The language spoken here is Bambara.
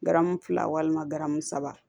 Garamu fila walima garamu saba